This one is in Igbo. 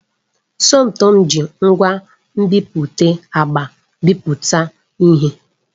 Somtoo ji ngwa nbipute agba bipụta ihe.